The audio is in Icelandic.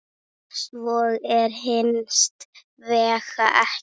Svo er hins vegar ekki.